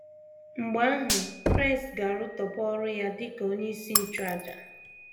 Mgbe ahụ, Kraịst ga - arụtọpụ ọrụ ya dị ka Onyeisi Nchụàjà.